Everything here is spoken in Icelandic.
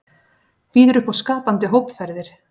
Býður upp á skapandi hópferðir